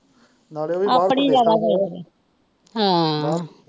ਨਾਲੇ ਉਹ ਆਪਣੀ ਲੱਗਾ ਫੇਰ ਹਾਂ ਬਸ।